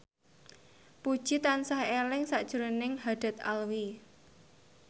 Puji tansah eling sakjroning Haddad Alwi